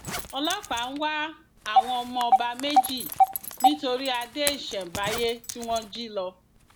ọlọpàá ń wá àwọn ọmọ ọba méjì nítorí adé ìṣemábáyé tí wọn jí lọ